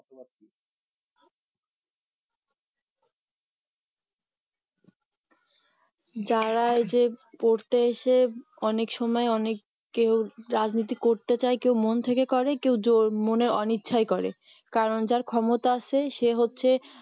যারা এই যে পড়তে এসে অনেক সময় অনেক কেউ রাজনীতি করতে চায় কেউ মন থেকে করে কেউ ~ মনের অনিচ্ছায় করে কারণ যার ক্ষমতা আছে সে হচ্ছে